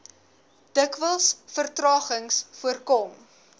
dikwels vertragings voorkom